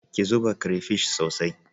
Ki zuba crayfish sosai